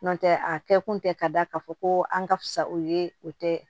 N'o tɛ a kɛ kun tɛ ka da k'a fɔ ko an ka fisa o ye o tɛ